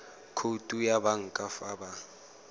khoutu ya banka fa ba